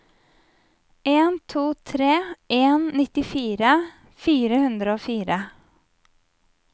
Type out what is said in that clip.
en to tre en nittifire fire hundre og fire